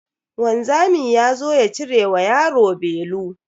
Wanzami yazo ya cire wa yaro belu.